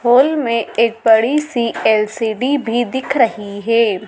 होली में एक बड़ी सी एल_सी_डी भी दिख रही है।